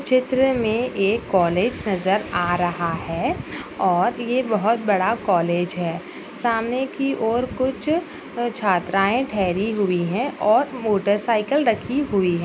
चित्रा में एक कॉलेज नज़र आ रहा है और जहां ये बहुत बड़ा कॉलेज है सामने की ओर कुछ छात्राएं ठेहरी हुई हैं और मोटरसाइकिल रखी हुई--